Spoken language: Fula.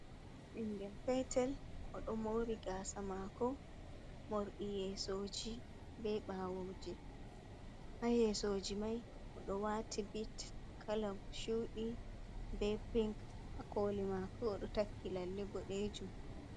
Ɓingel petel odo mori gasa mako morɗi yesoji ɓe ɓawoje ha yesoji mai o do wati bits kala chudi be pink ha koli mako odo takki lalle boɗejum.